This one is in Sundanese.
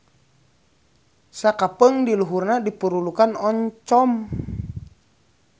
Sakapeung di luhurna dipurulukkan oncom.